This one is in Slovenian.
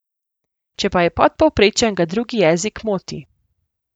Če pa je podpovprečen, ga drugi jezik moti.